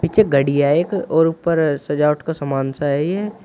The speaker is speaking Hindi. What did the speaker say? पीछे घड़ी है एक और ऊपर सजावट का सामान सा है ये।